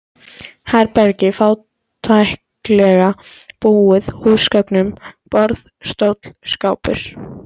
Herbergi fátæklega búið húsgögnum: borð, stóll, skápur.